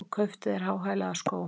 Og kauptu þér háhælaða skó!